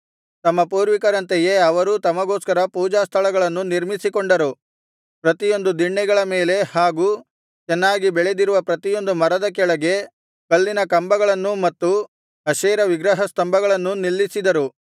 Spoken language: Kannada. ತಮ್ಮ ಪೂರ್ವಿಕರಂತೆಯೇ ಅವರೂ ತಮಗೋಸ್ಕರ ಪೂಜಾ ಸ್ಥಳಗಳನ್ನು ನಿರ್ಮಿಸಿಕೊಂಡರು ಪ್ರತಿಯೊಂದು ದಿಣ್ಣೆಗಳ ಮೇಲೆ ಹಾಗೂ ಚೆನ್ನಾಗಿ ಬೆಳೆದಿರುವ ಪ್ರತಿಯೊಂದು ಮರದ ಕೆಳಗೆ ಕಲ್ಲಿನ ಕಂಬಗಳನ್ನೂ ಮತ್ತು ಅಶೇರ ವಿಗ್ರಹಸ್ತಂಭಗಳನ್ನೂ ನಿಲ್ಲಿಸಿದರು